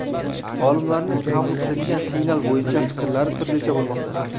Olimlarning qabul qilingan signal bo‘yicha fikrlari turlicha bo‘lmoqda.